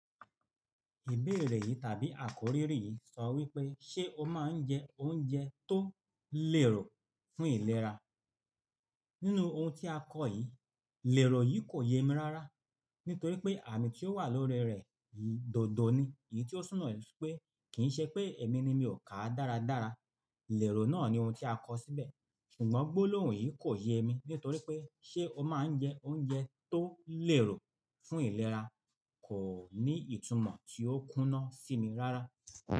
Ìbéèrè yìí tàbí àkòrí rí yìí sọ wí pé, "ṣé o máa ń jẹ oúnjẹ tó lèrò fún ìlera?" Nínú ohun tí a kọ̀ yìí, lèrò yìí kò yé mi rárá, nítorí pé àmì tí ó wà lórí rẹ̀ yìí dandan ni, èyí tí ó súnna ni pé kì í ṣe pé èmi ni mi ò ká dáradára. Lèrò náà ni ohun tí a kọ̀ síbẹ̀, ṣùgbọ́n gbólóhùn yìí kò yé mi, nítorí pé, "ṣé o máa ń jẹ oúnjẹ tó lèrò fún ìlera?" Kò ní ìtumọ̀ tí ó kúnna sí mi rárá.